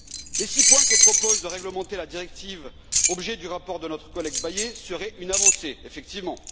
Les six points que propose de réglementer la directive objet du rapport de notre collègue Bayet serait une avancée, effectivement.